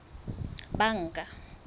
banka